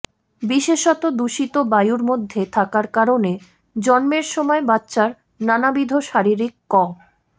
বিশেষত দূষিত বায়ুর মধ্যে থাকার কারণে জন্মের সময় বাচ্চার নানাবিধ শারীরিক ক